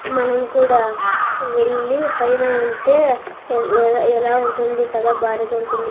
మనం కూడా వెళ్ళి పైన ఉంటే ఎ ఎలా ఉంటుంది కదా భారిగా ఉంటుంది.